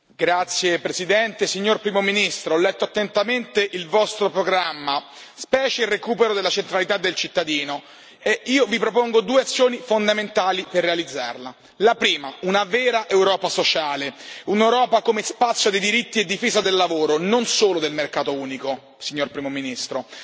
Signor Presidente, onorevoli colleghi, signor Primo ministro, ho letto attentamente il vostro programma, specie il recupero della centralità del cittadino. Io vi propongo due azioni fondamentali per realizzarla. La prima una vera Europa sociale, un'Europa come spazio di diritti e difesa del lavoro, non solo del mercato unico, signor Primo ministro.